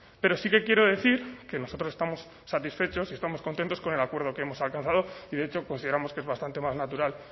pero sí que quiero decir que nosotros estamos satisfechos y estamos contentos con el acuerdo que hemos alcanzado y de hecho consideramos que es bastante más natural